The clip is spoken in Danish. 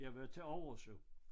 Jeg var til overs jo